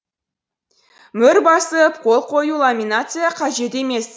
мөр басып қол қою ламинация қажет емес